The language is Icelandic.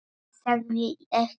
Ég sagði ekki satt.